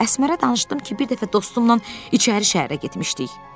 Əsmərə danışdım ki, bir dəfə dostumnan içəri şəhərə getmişdik.